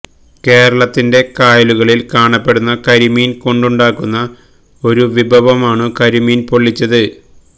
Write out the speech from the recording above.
കേരളത്തിന്റെ കായലുകളിൽ കാണപ്പെടുന്ന കരിമീൻ കൊണ്ടുണ്ടാക്കുന്ന ഒരു വിഭവമാണു കരിമീൻ പൊള്ളിച്ചത്